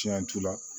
Tiɲɛ t'u la